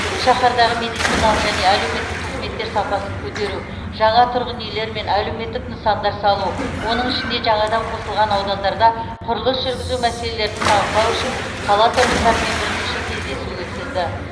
шаһардағы медициналық және әлеуметтік қызметтер сапасын көтеру жаңа тұрғын үйлер мен әлеуметтік нысандар салу оның ішінде жаңадан қосылған аудандарда құрылыс жүргізу мәселелерін талқылау үшін қала тұрғындарымен бірнеше кездесу өткізді